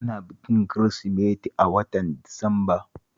Ana bikin Kirsimeti a watan Disamba.